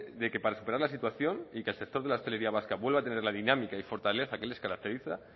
de que para superar la situación y que el sector de la hostelería vasca vuelva a tener la dinámica y la fortaleza que les caracteriza